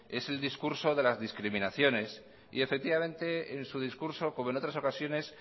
es el discurso de las discriminaciones y efectivamente en su discurso como en otras ocasiones